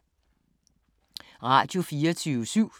Radio24syv